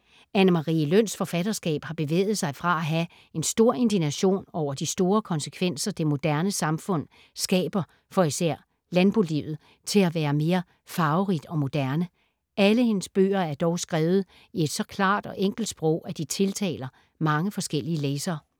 Anne Marie Løns forfatterskab har bevæget sig fra at have en stor indignation over de store konsekvenser, det moderne samfund skaber for især landbolivet til at være mere farverigt og moderne. Alle hendes bøger er dog skrevet i et så klart og enkelt sprog, at de tiltaler mange forskellige læsere.